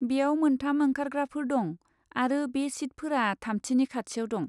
बेयाव मोनथाम ओंखारग्राफोर दं आरो बे सिटफोरा थामथिनि खाथियाव दं।